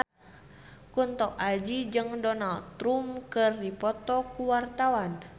Kunto Aji jeung Donald Trump keur dipoto ku wartawan